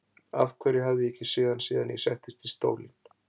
Af hverju hafði ég ekki séð hann síðan ég settist í stólinn?